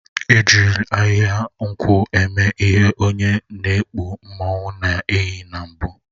E jiri ahịhịa nkwụ eme ihe onye n'ekpu mmanwụ na-eyi na mbụ